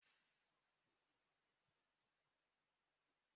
Ọrịa bụ ihe ebumpụta ụwa